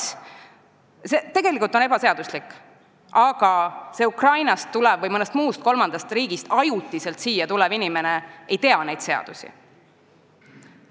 See kõik on tegelikult ebaseaduslik, aga Ukrainast või mõnest muust kolmandast riigist ajutiselt siia tulnud inimene ei tunne meie seadusi.